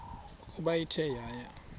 ukuba ithe yaya